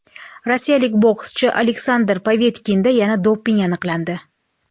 Rossiyalik bokschi Aleksandr Povetkinda yana doping aniqlandi.